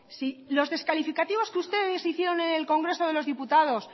si los descalificativos que ustedes hicieron en el congreso de los diputados